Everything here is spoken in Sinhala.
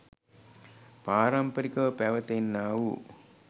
පාරම්පරිකව පැවැත එන්නා වූ